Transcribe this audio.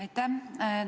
Aitäh!